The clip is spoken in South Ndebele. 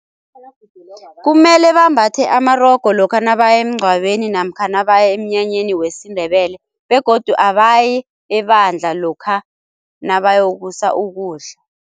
Kumele bambathe amarogo lokha nabaya emngcwabeni namkha nabaya emnyanyeni wesiNdebele, begodu abayi ebandla lokha nabayokusa ukudla.